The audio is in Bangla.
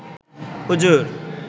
হুজুর